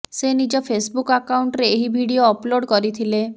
ସେ ନିଜ ଫେସବୁକ ଆକାଉଣ୍ଟରେ ଏହି ଭିଡିଓ ଅପଲୋଡ କରିଥିଲେ